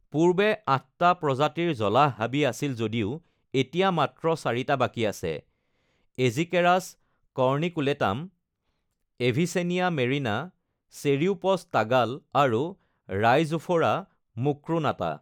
পূৰ্বে আঠটা প্ৰজাতিৰ জলাহ হাবি আছিল, যদিও এতিয়া মাত্ৰ চাৰিটা বাকী আছে: Aegiceras corniculatum, Avicennia marina, Ceriops tagal, আৰু ৰাইজোফোৰা মুক্ৰোনাটা।